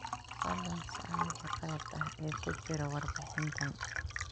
Fadlan sax wixii khalad ah ee ku jira warbixintan.